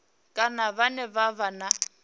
kana vhane vha vha na